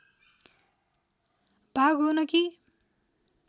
भाग हो न कि